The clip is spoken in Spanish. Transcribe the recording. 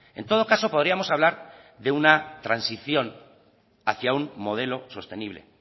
en todo caso podríamos hablar de una transición hacia un modelo sostenible